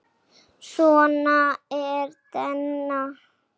Svona var Denni.